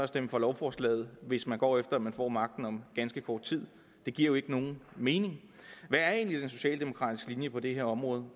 stemme for lovforslaget hvis man går efter at man får magten om ganske kort tid det giver jo ikke nogen mening hvad er egentlig den socialdemokratiske linje på det her område